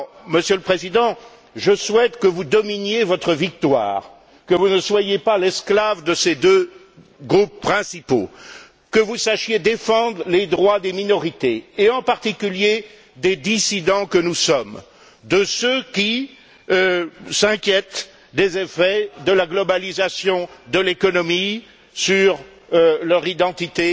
Monsieur le Président, je souhaite que vous dominiez votre victoire, que vous ne soyez pas l'esclave de ces deux groupes principaux, que vous sachiez défendre les droits des minorités et, en particulier, des dissidents que nous sommes, de ceux qui s'inquiètent des effets de la globalisation de l'économie sur leur identité,